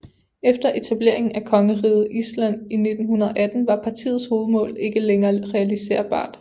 Efter etableringen af Kongeriget Island i 1918 var partiets hovedmål ikke længere realiserbart